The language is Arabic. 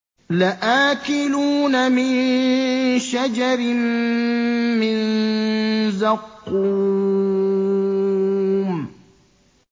لَآكِلُونَ مِن شَجَرٍ مِّن زَقُّومٍ